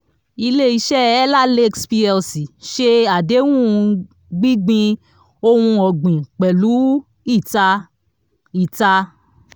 ilé iṣẹ́ ellah lakes plc ṣe àdéhun gbígbin ohun ọ̀gbìn pẹ̀lú iita. iita.